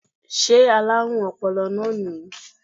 Sé alárùn ọpọlọ náà nìyí